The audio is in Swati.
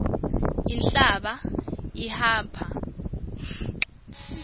inhlaba ihapha tifo